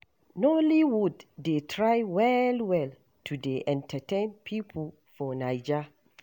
Nollywood dey try well-well to dey entertain pipo for Naija.